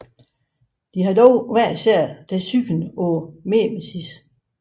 De har dog hver især deres syn på mimesis